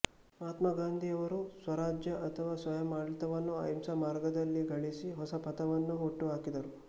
ಮಹಾತ್ಮಗಾಂಧಿಯವರು ಸ್ವರಾಜ್ಯ ಅಥವಾ ಸ್ವಯಮಾಡಳಿತವನ್ನು ಅಹಿಂಸಾ ಮಾರ್ಗದಲ್ಲಿ ಗಳಿಸಿ ಹೊಸ ಪಥವನ್ನು ಹುಟ್ಟು ಹಾಕಿದರು